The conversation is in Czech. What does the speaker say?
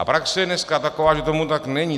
A praxe je dneska taková, že tomu tak není.